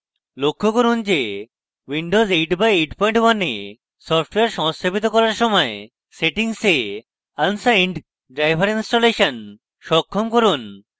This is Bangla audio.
লক্ষ্য করুন windows 8/81 এ সফ্টওয়্যার সংস্থাপিত করার সময় সেটিংসে unsigned driver installation সক্ষম করুন